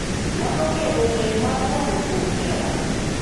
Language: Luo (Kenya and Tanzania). Nyalo medo ng’eyo mar ng’ato kuom hera,